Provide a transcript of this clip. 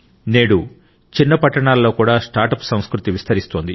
నేడు చిన్న పట్టణాలలో కూడా స్టార్ట్అప్ సంస్కృతి విస్తరిస్తోంది